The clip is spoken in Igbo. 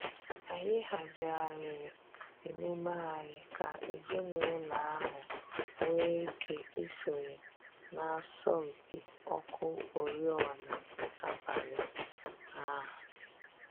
Anyị hazigharịrị emume anyị ka ezinụlọ ahụ nwee ike isonye n'asọmpi ọkụ oriọna abalị a